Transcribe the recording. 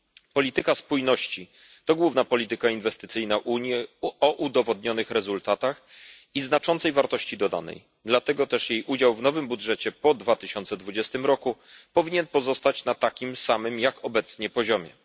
Polityka spójności to główna polityka inwestycyjna Unii, o udowodnionych rezultatach i znaczącej wartości dodanej, dlatego też jej udział w nowym budżecie po 2020 roku powinien pozostać na takim samym jak obecnie poziomie.